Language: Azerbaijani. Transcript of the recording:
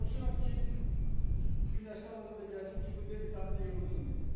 Çalışıram ki, günəşli havada da gəzim ki, bu D vitamini yığılsın.